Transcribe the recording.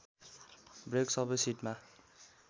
brake सबै सिटमा